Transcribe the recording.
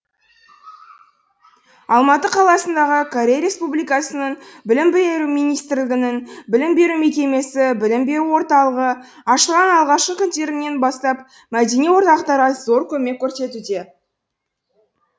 алматы қаласындағы корей республикасының білім беру министрлігінің білім беру мекемесі білім беру орталығы ашылған алғашқы күндерінен бастап мәдени орталықтарға зор көмек көрсетуде